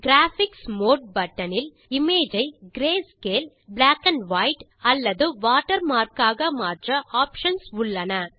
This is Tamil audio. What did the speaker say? கிராபிக்ஸ் மோடு பட்டன் இல் இமேஜ் ஐ கிரேஸ்கேல் black and வைட் அல்லது வாட்டர்மார்க் ஆக மாற்ற ஆப்ஷன்ஸ் உள்ளன